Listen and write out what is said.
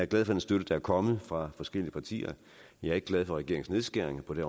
den støtte der kommer fra forskellige partier jeg er ikke glad for regeringens nedskæringer på det